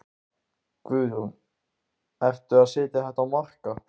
Guðrún: Ertu að setja þetta á markað?